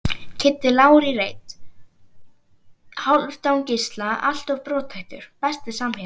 Kiddi Lár í reit, Hálfdán Gísla alltof brothættur Besti samherjinn?